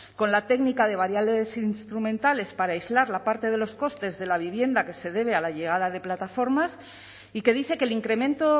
con la técnica de variables instrumentales para aislar la parte de los costes de la vivienda que se debe a la llegada de plataformas y que dice que el incremento